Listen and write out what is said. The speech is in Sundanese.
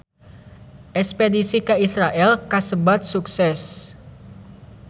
Espedisi ka Israel kasebat sukses